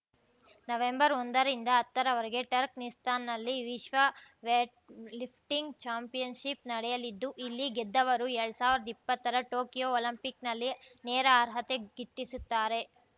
ನವೆಂಬರ್ಒಂದರಿಂದ ಹತ್ತರವರೆಗೆ ಟರ್ಕ್ ನಿಸ್ತಾನಲ್ಲಿ ವಿಶ್ವ ವೇಟ್‌ಲಿಫ್ಟಿಂಗ್‌ ಚಾಂಪಿಯನ್‌ಶಿಪ್‌ ನಡೆಯಲಿದ್ದು ಇಲ್ಲಿ ಗೆದ್ದವರು ಎಲ್ಡ್ ಸಾವಿರ್ದಾ ಇಪ್ಪತ್ತರ ಟೊಕಿಯೋ ಒಲಿಂಪಿಕ್ ನಲ್ಲಿ ನೇರ ಅರ್ಹತೆ ಗಿಟ್ಟಿಸುತ್ತಾರೆ